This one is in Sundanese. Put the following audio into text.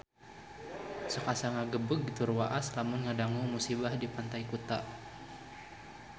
Sok asa ngagebeg tur waas lamun ngadangu musibah di Pantai Kuta